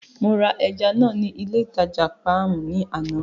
Mo ra ẹja náà ní ilé ìtajà Páàmù ní àná.